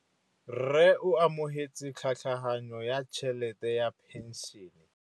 Rragwe o amogetse tlhatlhaganyô ya tšhelête ya phenšene.